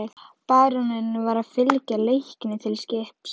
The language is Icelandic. Baróninn var að fylgja Leikni til skips.